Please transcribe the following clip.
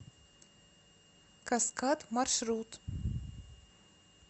каскад маршрут